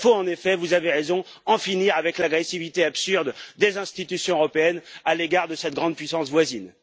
Il faut en effet vous avez raison en finir avec l'agressivité absurde des institutions européennes à l'égard de cette grande puissance voisine.